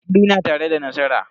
Mai hakuri na tare da nasara.